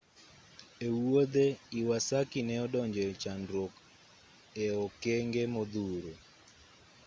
e wuodhe iwasaki ne odonje e chandruok e-okenge modhuro